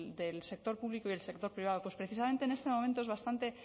del sector público y el sector privado pues precisamente en este momento es bastante